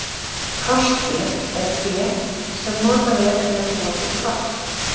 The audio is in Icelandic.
Krosstré er tré sem notað er til að búa til krossa.